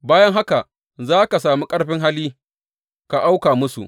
Bayan haka za ka sami ƙarfin hali ka auka musu.